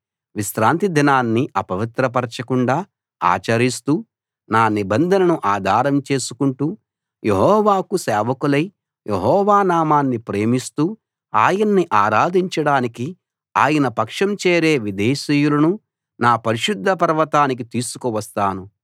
విశ్రాంతి దినాన్ని అపవిత్రపరచకుండా ఆచరిస్తూ నా నిబంధనను ఆధారం చేసుకుంటూ యెహోవాకు సేవకులై యెహోవా నామాన్ని ప్రేమిస్తూ ఆయన్ని ఆరాధించడానికి ఆయన పక్షం చేరే విదేశీయులను నా పరిశుద్ధ పర్వతానికి తీసుకు వస్తాను